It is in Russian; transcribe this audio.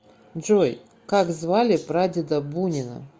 джой как звали прадеда бунина